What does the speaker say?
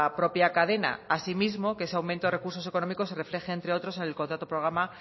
propia cadena asimismo que ese aumento recursos económicos se refleje entre otros en el contrato de programa